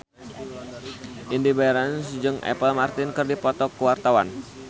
Indy Barens jeung Apple Martin keur dipoto ku wartawan